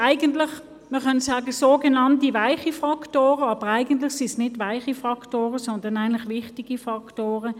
nämlich die sogenannten weichen Faktoren – aber eigentlich sind es nicht weiche Faktoren, sondern wichtige Faktoren.